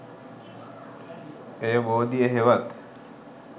එය බෝධිය හෙවත්